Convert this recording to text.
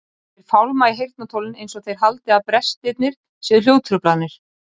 Þeir fálma í heyrnartólin einsog þeir haldi að brestirnir séu hljóðtruflanir.